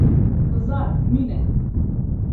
Pozor, mine!